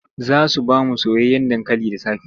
Za su ba mu soyayyen dankali da safe.